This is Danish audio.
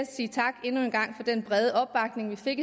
endnu en gang for den brede opbakning vi fik